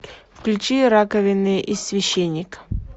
включи раковина и священник